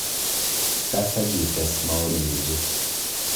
Kaas ak ii tees maoni cheguuk